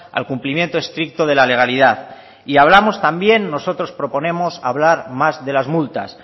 al cumplimiento estricto de la legalidad y hablamos también nosotros proponemos hablar más de las multas